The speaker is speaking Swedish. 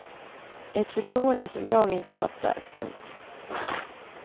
Ett förtroende som jag inte fattar. punkt